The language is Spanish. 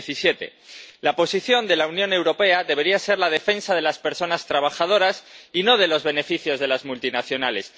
2017. La posición de la Unión Europea debería ser la defensa de las personas trabajadoras y no de los beneficios de las multinacionales.